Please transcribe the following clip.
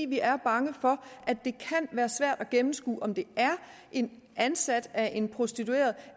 vi er bange for at det kan være svært at gennemskue om det er en ansat af en prostitueret